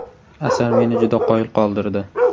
Asar meni juda qoyil qoldirdi.